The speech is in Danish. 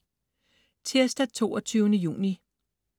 Tirsdag den 22. juni